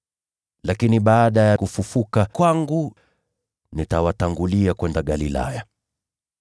Lakini baada ya kufufuka kwangu, nitawatangulia kwenda Galilaya.”